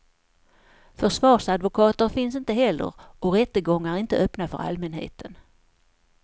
Försvarsadvokater finns inte heller och rättegångar är inte öppna för allmänheten.